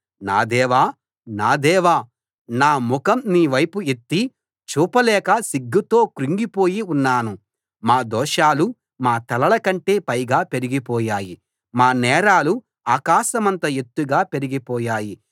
నా దేవా నా దేవా నా ముఖం నీ వైపు ఎత్తి చూపలేక సిగ్గుతో కృంగిపోయి ఉన్నాను మా దోషాలు మా తలల కంటే పైగా పెరిగిపోయాయి మా నేరాలు ఆకాశమంత ఎత్తుగా పెరిగిపోయాయి